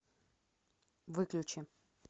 выключи